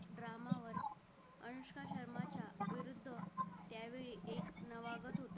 त्यावेळी एक नवागत होता